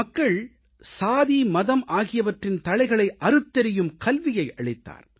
மக்கள் சாதி மதம் ஆகியவற்றின் தளைகளை அறுத்தெறியும் கல்வியை அளித்தார்